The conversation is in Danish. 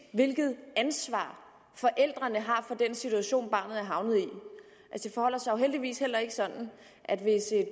hvilket ansvar forældrene har for den situation barnet er havnet i det forholder sig jo heldigvis heller ikke sådan at hvis et